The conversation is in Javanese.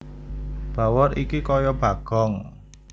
Bawor iki kaya Bagong